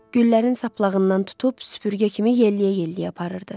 Güllərin saplağından tutub süpürgə kimi yelləyə-yelləyə aparırdı.